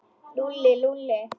Lúlli, Lúlli.